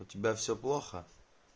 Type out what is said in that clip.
у тебя все плохо